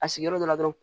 A sigiyɔrɔ dɔ la dɔrɔn